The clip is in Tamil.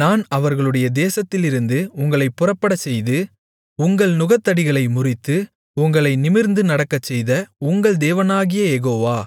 நான் அவர்களுடைய தேசத்திலிருந்து உங்களைப் புறப்படச்செய்து உங்கள் நுகத்தடிகளை முறித்து உங்களை நிமிர்ந்து நடக்கச்செய்த உங்கள் தேவனாகிய யெகோவா